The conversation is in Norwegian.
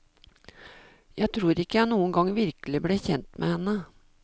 Jeg tror ikke jeg noen gang virkelig ble kjent med henne.